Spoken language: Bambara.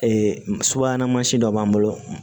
subahana dɔ b'an bolo